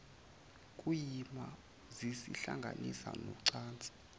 kuyima zizihlanganisa nocansi